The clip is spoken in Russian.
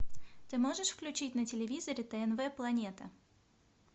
ты можешь включить на телевизоре тнв планета